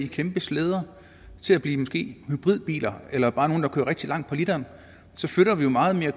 kæmpe slæder til at blive måske hybridbiler eller bare nogle der kører rigtig langt på literen så flytter vi jo meget mere